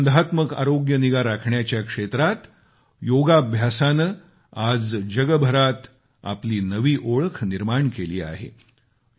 प्रतिबंधात्मक आरोग्य निगा राखण्याच्या क्षेत्रात योगाभ्यासाने आज जगभरात आपली नवी ओळख निर्माण केली आहे